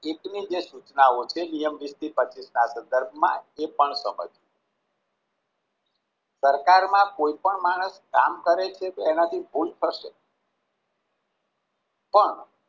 હિતની જે સૂચનાઓ છે સરકારમાં કોઈ પણ માણસ કામ કરે છે તો એના થી ભૂલ થશે પણ